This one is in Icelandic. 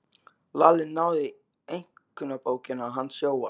Lalli náði í einkunnabókina hans Jóa.